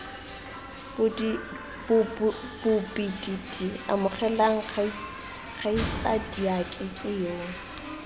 bobididi amogelang kgaitsadiake ke yoo